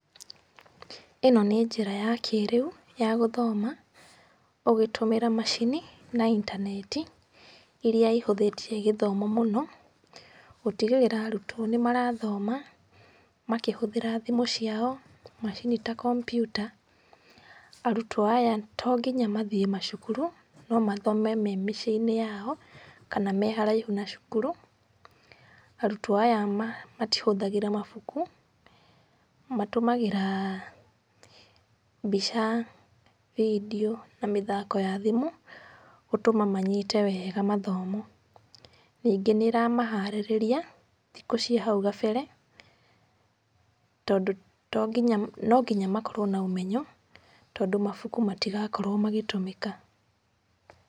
Ĩno nĩ njĩra ya kĩrĩu ya gũthoma ũgĩtũmĩra macini na intaneti, iria ihũthĩtie gĩthomo mũno, gũtigĩrĩra arutwo nĩ marathoma makĩhũthĩra thimũ ciao, macini ta kompiuta. Arutwo aya to nginya mathiĩ macukuru, no mathome me mĩciĩ-inĩ yao, kana me haraihu na cukuru. Arutwo aya matihũthagĩra mabuku, matũmagĩra mbica, video na mĩthako ya thimũ gũtũma manyite wega mathomo. Ningĩ nĩ ĩramaharĩrĩria thikũ cia hau gabere, tondũ no nginya makorwo na ũmenyo, tondũ mabuku matigakorwo magĩtũmĩka.